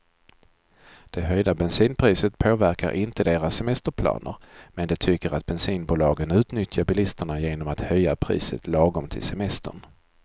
Det höjda bensinpriset påverkar inte deras semesterplaner, men de tycker att bensinbolagen utnyttjar bilisterna genom att höja priset lagom till semestern.